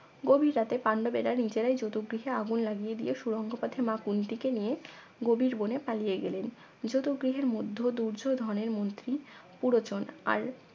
গভীর রাতে পান্ডবেরা নিজেরাই যতু গৃহে আগুন লাগিয়ে দিয়ে সুরঙ্গ পথে মা কুন্তীকে নিয়ে গভীর বনে পালিয়ে গেলেন যতু গৃহের মধ্য দুর্যোধনের মন্ত্রী পুরোজন আর